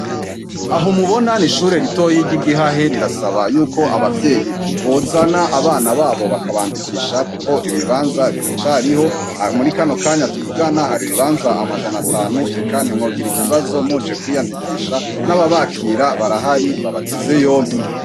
Aho umubona ni ishure ritoyi rya igihahe rirasaba yuko abavyeyi bozana abana babo bakabandikisha, kuko ibibanza biracariho murikano kanyu atuvugana hari ibibanza amajana atanu eka nti mwogira ikibazo muje kwiyandikisha n'ababakira barahari babateze yompi.